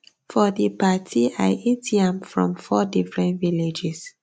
for di party i eat yam from four different villages